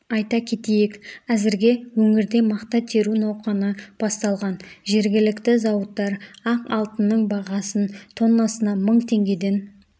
айта кетейік әзірге өңірде мақта теру науқаны басталған жергілікті зауыттар ақ алтынның бағасын тоннасына мың теңгеден